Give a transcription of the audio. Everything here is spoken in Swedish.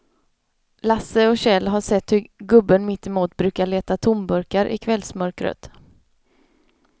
Lasse och Kjell har sett hur gubben mittemot brukar leta tomburkar i kvällsmörkret.